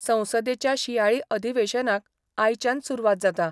संसदेच्या शियाळी अधिवेशनाक आयच्यान सुरवात जाता.